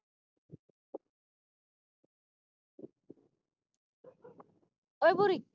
ਹੋਵੇ ਬੁਰੀ